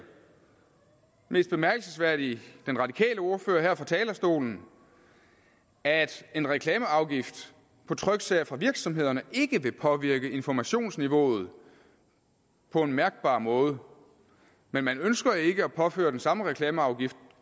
mest bemærkelsesværdigt den radikale ordfører her fra talerstolen at en reklameafgift på tryksager fra virksomhederne ikke vil påvirke informationsniveauet på en mærkbar måde men man ønsker ikke at påføre den samme reklameafgift